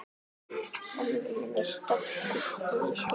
Samruni með stofnun nýs félags.